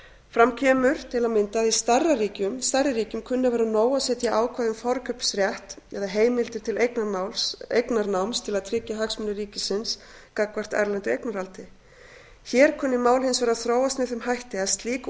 fram kemur til að mynda að í stærri ríkjum kunni að vera nóg að setja ákvæði um forkaupsrétt eða heimildir til eignarnáms til að tryggja hagsmuni ríkisins gagnvart erlendu eignarhaldi hér kunni mál hins vegar að þróast með þeim hætti að slík